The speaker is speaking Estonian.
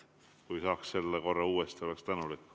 Kui saaksite uuesti korrata, oleksin tänulik.